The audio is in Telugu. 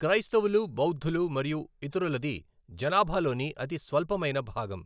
క్రైస్తవులు, బౌద్ధులు మరియు ఇతరులది జనాభాలోని అతి స్వల్పమైన భాగం.